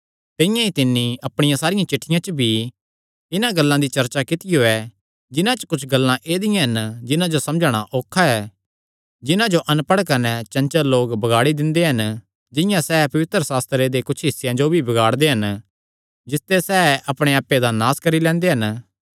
तिंआं ई तिन्नी अपणियां सारियां चिठ्ठियां च भी इन्हां गल्लां दी चर्चा कित्तियो ऐ जिन्हां च कुच्छ गल्लां ऐदिआं हन जिन्हां जो समझणा औखा ऐ जिन्हां जो अणपढ़ कने चंचल लोक बगाड़ी दिंदे हन जिंआं सैह़ पवित्रशास्त्रे दे कुच्छ हिस्सेयां जो भी बगाड़दे हन जिसते सैह़ अपणे आप्पे दा नास करी लैंदे हन